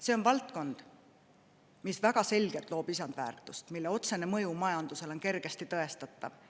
See on valdkond, mis väga selgelt loob lisandväärtust, mille otsene mõju majandusele on kergesti tõestatav.